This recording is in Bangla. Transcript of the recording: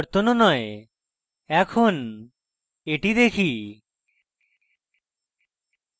এখন এটি দেখি